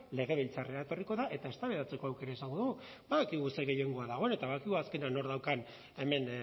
legebiltzarrera etorriko da eta eztabaidatzeko aukera izango dugu badakigu ze gehiengoa dagoen eta badakigu azkenean nork daukan hemen